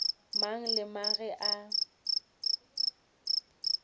mang le mang ge a